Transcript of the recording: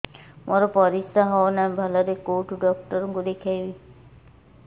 ମୋର ପରିଶ୍ରା ହଉନାହିଁ ଭଲରେ କୋଉ ଡକ୍ଟର କୁ ଦେଖେଇବି